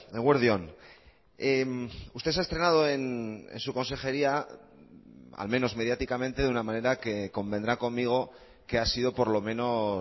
eguerdi on usted se ha estrenado en su consejería al menos mediáticamente de una manera que convendrá conmigo que ha sido por lo menos